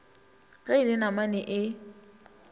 ge e le namane e